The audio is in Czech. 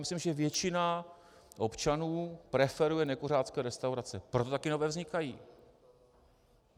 Myslím, že většina občanů preferuje nekuřácké restaurace, proto také nové vznikají.